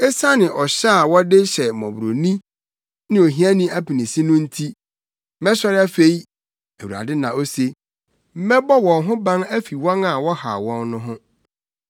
“Esiane ɔhyɛ a wɔde hyɛ mmɔborɔni ne ohiani apinisi no nti, mɛsɔre afei,” Awurade na ose. “Mɛbɔ wɔn ho ban afi wɔn a wɔhaw wɔn no ho.”